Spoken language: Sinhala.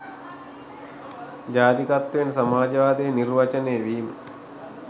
ජාතිකත්වයෙන් සමාජවාදය නිර්වචනය වීම